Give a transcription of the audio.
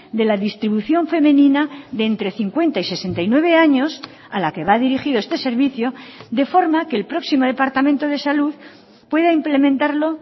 de la distribución femenina de entre cincuenta y sesenta y nueve años a la que va dirigido este servicio de forma que el próximo departamento de salud pueda implementarlo